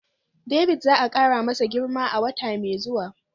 David za a kara masa girma a wata mai zuwa